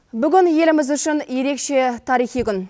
бүгін еліміз үшін ерекше тарихи күн